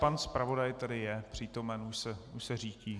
Pan zpravodaj tady je přítomen, už se řítí.